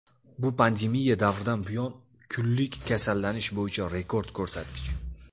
Bu pandemiya davridan buyon kunlik kasallanish bo‘yicha rekord ko‘rsatkich.